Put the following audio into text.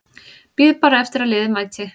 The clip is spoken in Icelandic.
Bíð bara eftir að liðið mæti.